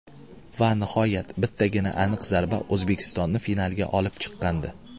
Va nihoyat bittagina aniq zarba O‘zbekistonni finalga olib chiqqandi.